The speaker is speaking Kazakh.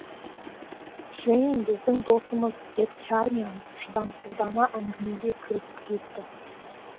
джейн біздің досымыз деп чармиан шыдамсыздана әңгімеге кірісіп кетті